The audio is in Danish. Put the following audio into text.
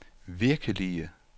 virkelige